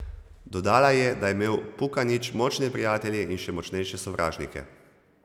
Dodala je, da je imel Pukanić močne prijatelje in še močnejše sovražnike.